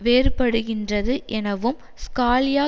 வேறுபடுகின்றது எனவும் ஸ்காலியா